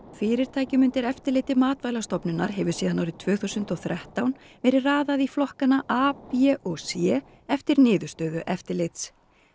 fyrirtækjum undir eftirliti Matvælastofnunar hefur síðan árið tvö þúsund og þrettán verið raðað í flokkana a b og c eftir niðurstöðu eftirlits